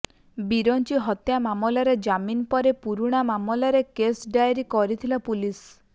ବିରଂଚି ହତ୍ୟା ମାମଲାରେ ଜାମିନ ପରେ ପୁରୁଣା ମାମଲାରେ କେସ ଡାଏରୀ କରିଥିଲା ପୁଲିସ୍